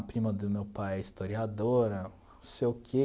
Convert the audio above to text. A prima do meu pai é historiadora, não sei o quê.